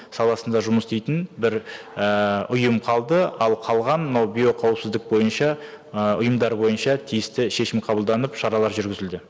саласында жұмыс істейтін бір ііі ұйым қалды ал қалған мынау биоқауіпсіздік бойынша ы ұйымдар бойынша тиісті шешім қабылданып шаралар жүргізілді